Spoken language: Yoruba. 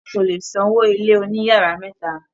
wọn kò le san owó ilé òní yàrá mẹ́ta.